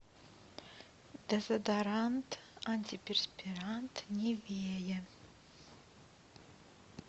дезодорант антиперспирант нивея